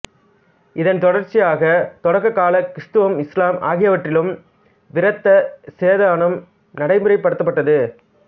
இதன் தொடர்ச்சியாக தொடக்க கால கிருத்துவம் இசுலாம் ஆகியவற்றிலும் விருத்த சேதனம் நடைமுறைப்படுத்தப்பட்டது